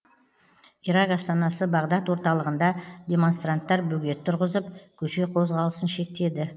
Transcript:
ирак астанасы бағдад орталығында демонстранттар бөгет тұрғызып көше қозғалысын шектеді